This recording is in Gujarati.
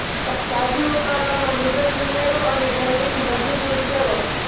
તાજી ઉકાળવામાં નૂડલ્સ ઉમેરો અને ગરમીથી બધું દૂર કરો